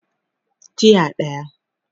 Tiya daya